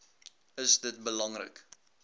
is dit belangrik